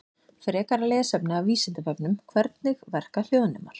Frekara lesefni af Vísindavefnum: Hvernig verka hljóðnemar?